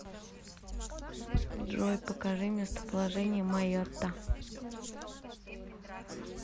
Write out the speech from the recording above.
джой покажи местоположение майотта